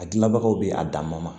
A gilanbagaw be a dan ma